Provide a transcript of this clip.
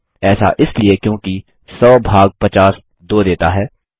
ऐसा इसलिए क्योंकि 100 भाग 50 2 देता है